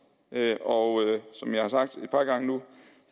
og som jeg har sagt et par gange nu